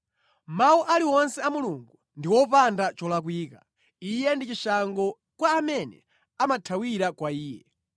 “Mawu ali wonse a Mulungu ndi opanda cholakwika; Iye ndi chishango kwa amene amathawira kwa Iye.